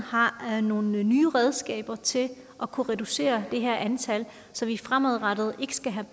har nogle nye redskaber til at kunne reducere det her antal så vi fremadrettet ikke skal have